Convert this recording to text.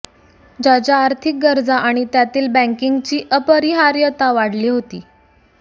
ज्याच्या आर्थिक गरजा आणि त्यातील बँकिंगची अपरिहार्यता वाढली होती